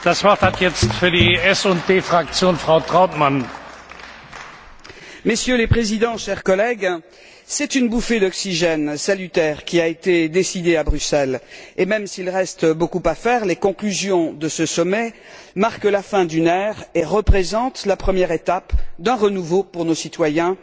Messieurs les Présidents, chers collègues, c'est une bouffée d'oxygène salutaire qui a été décidée à Bruxelles, et même s'il reste beaucoup à faire, les conclusions de ce sommet marquent la fin d'une époque et représentent la première étape d'un renouveau pour nos citoyens, celui d'une Europe qui se donne les moyens d'être plus juste et plus solidaire.